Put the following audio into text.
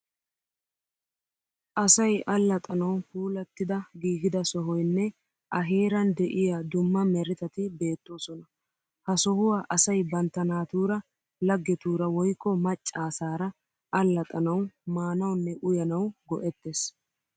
Asay allaxxanawu puulattida giigida sohoyinne a heeran de'iya dumma meretati beettoosona. Ha sohuwa asay bantta naatuura, laggetuura woyikko maccaasara allaxxanawu, maanawunne uyanawu go'ettees.